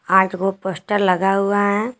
आठ गो पोस्टर लगा हुआ है।